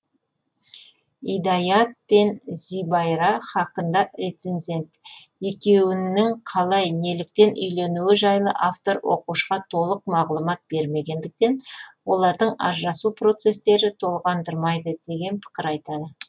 идаят пен зібайра хақында рецензент екеуінің қалай неліктен үйленуі жайлы автор оқушыға толық мағлұмат бермегендіктен олардың ажырасу процесттері толғандырмайды деген пікір айтады